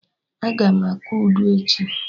Agam akụ Udu echi